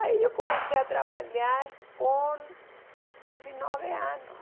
Aí eu comecei a trabalhar com dezenove anos.